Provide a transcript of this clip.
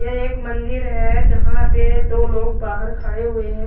ये एक मंदिर है जहाँ पे दो लोग बहार खड़े हुए है।